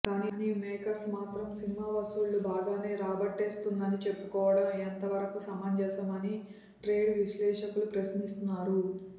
కానీ మేకర్స్ మాత్రం సినిమా వసూళ్లు బాగానే రాబట్టేస్తుందని చెప్పుకోవడం ఎంత వరకు సమంజసం అని ట్రేడ్ విశ్లేషకులు ప్రశ్నిస్తున్నారు